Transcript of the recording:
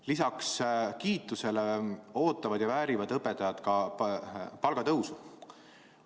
Lisaks kiitusele ootavad ja väärivad õpetajad ka palgatõusu.